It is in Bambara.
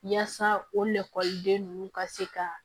Yaasa o la ekɔliden ninnu ka se ka